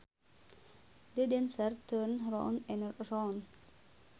The dancers turned round and around